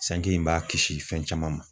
Sanji in b'a kisi fɛn caman ma.